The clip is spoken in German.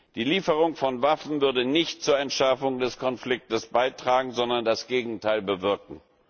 Die Lieferung von Waffen würde nicht zur Entschärfung des Konfliktes beitragen, sondern das Gegenteil bewirken.